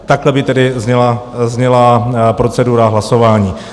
Takhle by tedy zněla procedura hlasování.